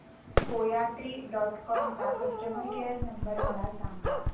कोयात्री dot com चा customer care number मला सांगा